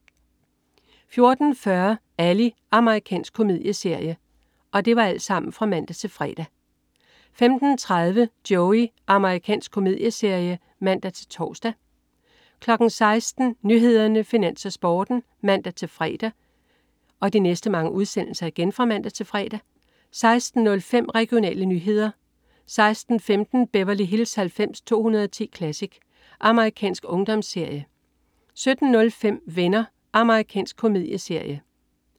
14.40 Ally. Amerikansk komedieserie (man-fre) 15.30 Joey. Amerikansk komedieserie (man-tors) 16.00 Nyhederne, Finans, Sporten (man-fre) 16.05 Regionale nyheder (man-fre) 16.15 Beverly Hills 90210 Classic. Amerikansk ungdomsserie (man-fre) 17.05 Venner. Amerikansk komedieserie (man-fre)